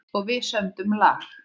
Og við sömdum lag.